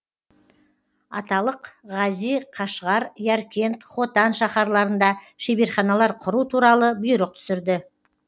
аталық ғази қашғар яркент хотан шаһарларында шеберханалар құру туралы бұйрық түсірді